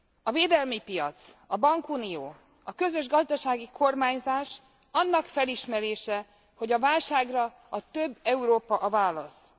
A védelmi piac, a bankunió, a közös gazdasági kormányzás annak felismerése, hogy a válságra a több Európa a válasz.